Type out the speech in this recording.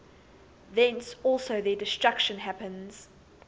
thence also their destruction happens